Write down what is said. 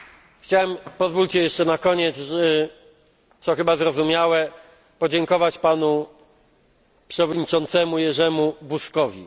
Niech Państwo pozwolą mi jeszcze na koniec, co chyba zrozumiałe, podziękować Panu Przewodniczącemu Jerzemu Buzkowi.